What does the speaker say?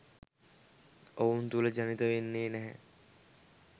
ඔවුන් තුළ ජනිත වෙන්නේ නැහැ.